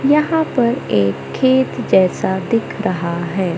यहां पर एक खेत जैसा दिख रहा है।